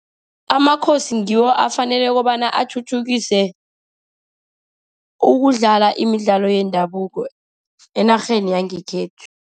Amakhosi ngiwo afanele kobana athuthukise ukudlala imidlalo yendabuko enarheni yangekhethu.